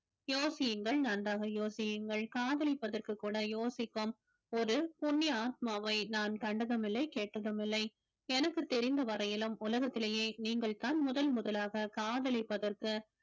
யோசியுங்கள் நன்றாக யோசியுங்கள் காதலிப்பதற்கு கூட யோசிக்கும் ஒரு புண்ணிய ஆத்மாவை நான் கண்டதுமில்லை கேட்டதுமில்லை எனக்கு தெரிந்த வரையிலும் உலகத்திலேயே நீங்கள்தான் முதல் முதலாக காதலிப்பதற்கு